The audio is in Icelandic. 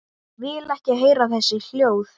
Vil ekki heyra þessi hljóð.